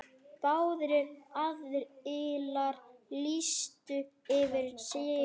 Báðir aðilar lýstu yfir sigri.